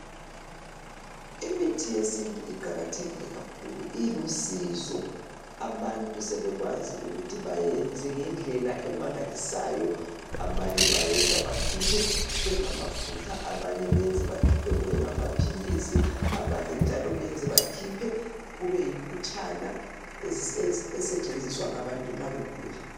Imithi yesintu iqakathekile kakhulu. Ilusizo! Abantu sebekwazi ukuthi bayenze ngendlela emangalisayo. Abanye bayenza, bakhiphe kube ngamafutha. Abanye benze bakhiphe kube ngamaphilisi. Abanye njalo benze bakhiphe, kube yimputshana. Esetshenziswa ngabantu nxa begula.